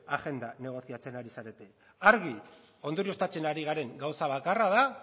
agenda negoziatzen ari zarete argi ondorioztatzen ari garen gauza bakarra da